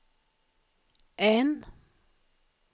N